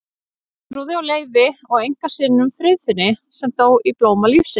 Geirþrúði og Leifi og einkasyninum Friðfinni sem dó í blóma lífsins.